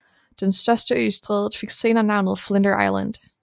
Den største ø i strædet fik senere navnet Flinders Island